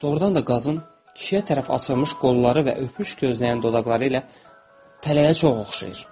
Doğrudan da qadın kişiyə tərəf açılmış qolları və öpüş gözləyən dodaqları ilə tələyə çox oxşayır.